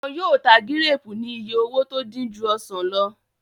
Wọ́n yóò máa ta gíréèpù ní iye owó tó dín ju ọsàn lọ